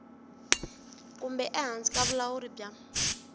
kumbe ehansi ka vulawuri bya